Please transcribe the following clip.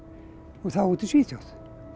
og þá úti í Svíþjóð